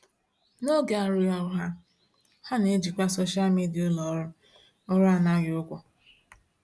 N'oge arụghị ọrụ ha, ha na-ejikwa soshal midịa ulọọrụ ọrụ anaghị ụgwọ.